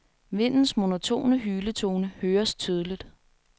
Vindens monotone hyletone høres tydeligt.